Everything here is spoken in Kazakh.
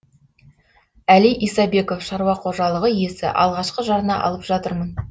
әли исабеков шаруақожалығы иесі алғашқы жарна алып жатырмын